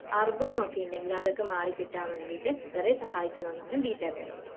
അർബുദം ഒക്കെ ഉണ്ടേൽ അതൊക്കെ മാറികിട്ടാൻ വേണ്ടീട്ട് കുറെ സഹായിക്കുന്ന ഒന്നാണ് ബീറ്റാകരോട്ടീൻ